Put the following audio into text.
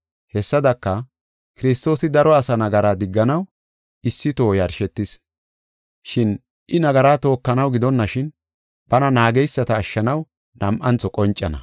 Hessadaka, Kiristoosi daro asaa nagara digganaw issi toho yarshetis. Shin I nagara tookanaw gidonashin, bana naageysata ashshanaw nam7antho qoncana.